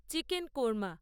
chicken korma